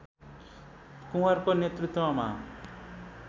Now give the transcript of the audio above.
कुँवरको नेतृत्वमा